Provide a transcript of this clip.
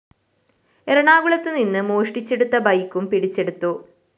എറണാകുളത്തുനിന്ന് മോഷ്ടിച്ചെടുത്ത ബൈക്കും പിടിച്ചെടുത്തു